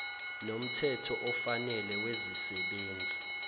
nomthetho ofanele wezisebenzi